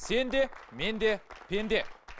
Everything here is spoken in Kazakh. сен де мен де пенде